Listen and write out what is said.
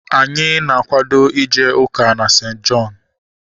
Anyị na-akwado ije ụka na St. Jọn